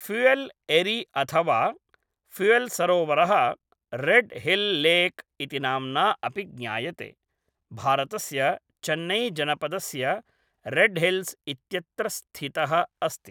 पुय़ल् एरि अथ वा पुय़ल्सरोवरः, रेड् हिल् लेक् इति नाम्ना अपि ज्ञायते, भारतस्य चेन्नैजनपदस्य रेडहिल्स् इत्यत्र स्थितः अस्ति।